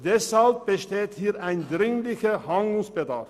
Deshalb besteht ein dringender Handlungsbedarf.